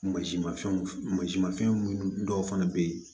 Masi mafɛnw masi mafɛn munnu dɔw fana be yen